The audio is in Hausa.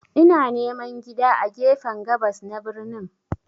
Ina neman gida a gefen gabas na birnin.